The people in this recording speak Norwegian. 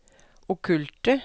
okkulte